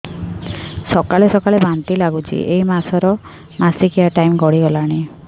ସକାଳେ ସକାଳେ ବାନ୍ତି ଲାଗୁଚି ଏଇ ମାସ ର ମାସିକିଆ ଟାଇମ ଗଡ଼ି ଗଲାଣି